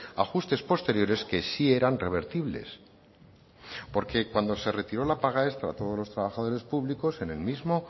ajustes posteriores que sí eran revertibles porque cuando se retiró la paga extra a todos los trabajadores públicos en el mismo